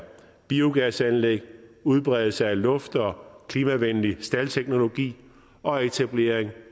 biogasanlæg udbredelse af luft og klimavenlig staldteknologi og etablering